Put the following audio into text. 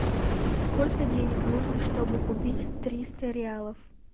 сколько денег нужно чтобы купить триста реалов